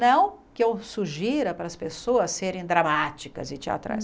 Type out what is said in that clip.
Não que eu sugira para as pessoas serem dramáticas e teatrais.